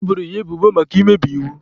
E boro ya ebubo maka imebi iwu.